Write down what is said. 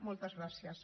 moltes gràcies